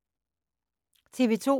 TV 2